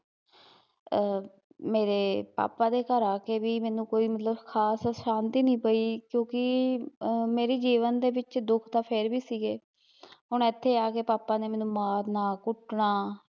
ਆ, ਮੇਰੇ ਪਾਪਾ ਦੇ ਘਰ ਆ ਕੇ ਵੀ ਮੈਨੂੰ ਕੋਈ ਮਤਲਬ ਕੁਛ ਖਾਸ ਸ਼ਾਂਤੀ ਨਹੀਂ ਮਿਲੀ ਕਿਊਂਕੀ ਮੇਰੀ ਜੀਵਨ ਦੇ ਵਿੱਚ ਦੁਖ ਤੇ ਫੇਰ ਵੀ ਸੀਗੇ ਹੁਣ ਏਥੇ ਆਕੇ ਪਾਪਾ ਨੇ ਮੇਨੂ ਮਾਰਨਾ ਕੁਟਨਾ